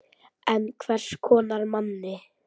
En hvers konar manni?